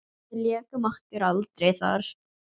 Við lékum okkur aldrei þar.